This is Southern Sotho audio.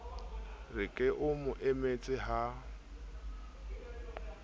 re ke o emetse ha